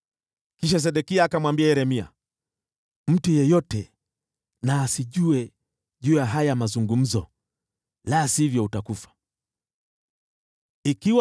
Kisha Sedekia akamwambia Yeremia, “Usiruhusu mtu yeyote ajue kuhusu haya mazungumzo, la sivyo utakufa.